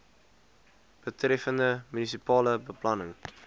betreffende munisipale beplanning